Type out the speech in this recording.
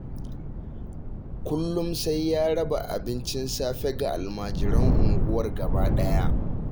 Kullum sai ya raba abincin safe ga almajiran unguwar gabaɗaya